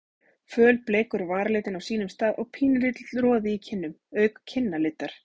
Fölbleikur varaliturinn á sínum stað og pínulítill roði í kinnum auk kinnalitar.